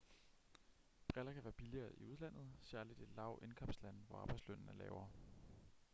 briller kan være billigere i udlandet særligt i lav-indkomstlande hvor arbejdslønnen er lavere